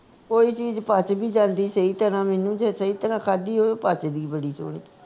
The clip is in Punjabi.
ਕੋਈ ਚੀਜ ਪੱਚ ਵੀ ਜਾਂਦੀ ਸਹੀ ਤਰ੍ਹਾਂ ਮੈਨੂੰ ਜੇ ਸਹੀ ਤਰ੍ਹਾਂ ਖਾਂਦੀ ਹੋਵੇ ਪੱਚਦੀ ਬੜੀ ਸੋਹਣੀ